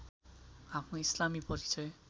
आफ्नो इस्लामी परिचय